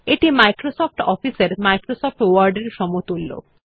এটি Microsoft Office এর Microsoft Word এর সমতুল্য